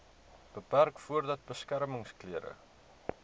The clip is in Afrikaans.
beperk voordat beskermingsklere